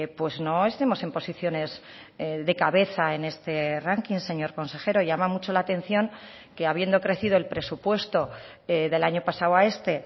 pues no estemos en posiciones de cabeza en este ranking señor consejero llama mucho la atención que habiendo crecido el presupuesto del año pasado a este